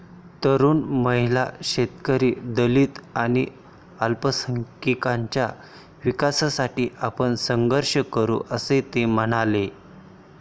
तरुण, महिला, शेतकरी, दलित आणि अल्पसंख्यांकाच्या विकासासाठी आपण संघर्ष करू, असे ते म्हणाले.